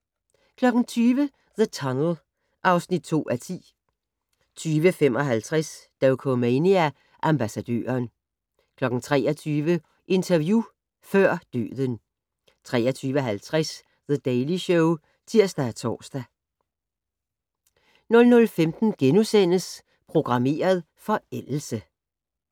20:00: The Tunnel (2:10) 20:55: Dokumania: Ambassadøren 23:00: Interview før døden 23:50: The Daily Show (tir-tor) 00:15: Programmeret forældelse *